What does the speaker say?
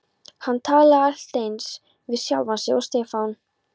Hann talaði allt eins við sjálfan sig og Stefán.